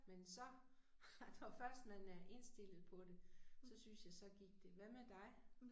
Men så at når først man er indstillet på det så synes jeg så gik det. Hvad med dig?